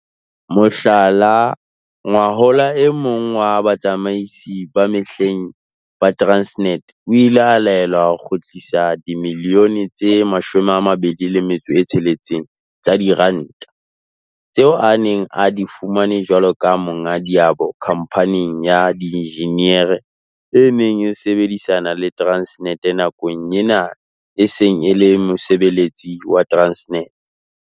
Mohlala, ngwahola e mong wa batsamaisi ba mehleng ba Transnet o ile a laelwa ho kgutlisa dimilione tse 26 tsa diranta tseo a neng a di fumane jwalo ka monga diabo khamphaneng ya dienjiniere e neng e sebedisana le Transnet nakong eo yena e sa leng mosebeletsi wa Transnet.